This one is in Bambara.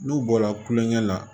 N'u bɔra kulonkɛ la